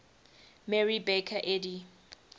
mary baker eddy